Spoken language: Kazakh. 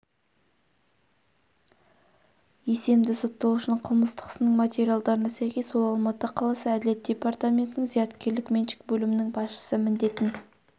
есемді сотталушының қылмыстық ісінің материалдарына сәйкес ол алматы қаласы әділет департаментінің зияткерлік меншік бөлімінің басшысы міндетін